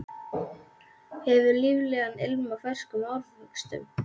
Hefur líflegan ilm af ferskum ávöxtum.